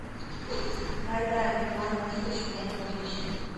гайдай иван васильевич меняет профессию